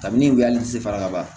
Kabini u wuli a ti fara kaban